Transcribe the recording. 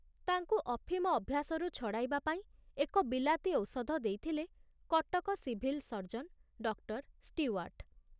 ତାଙ୍କୁ ଅଫିମ ଅଭ୍ୟାସରୁ ଛଡ଼ାଇବା ପାଇଁ ଏକ ବିଲାତୀ ଔଷଧ ଦେଇଥିଲେ Cuttack civil surgeon doctor Stewart.